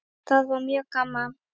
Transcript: Það var mjög gaman.